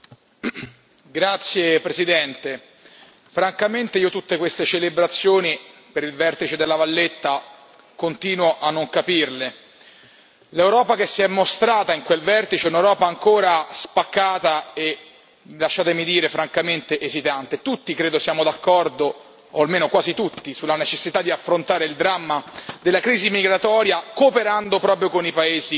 Signor Presidente, onorevoli colleghi, francamente io tutte queste celebrazioni per il vertice di La Valletta, continuo a non capirle. L'Europa che si è mostrata in quel vertice è un'Europa ancora spaccata e, lasciatemi dire, francamente esitante. Tutti credo siamo d'accordo o almeno quasi tutti sulla necessità di affrontare il dramma della crisi migratoria, cooperando proprio con i Paesi